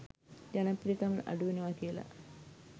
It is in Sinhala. ජනප්‍රියකම අඩුවෙනවා කියලා.